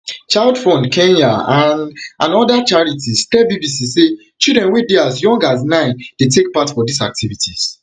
childfund kenya and and oda charities tell bbc say children wey dey as young as nine dey take part for diz activities